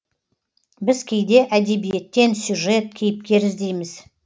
біз кейде әдебиеттен сюжет кейіпкер іздейміз